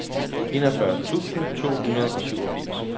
enogfyrre tusind to hundrede og syvogfirs